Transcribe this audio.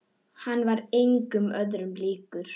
Hann var engum öðrum líkur.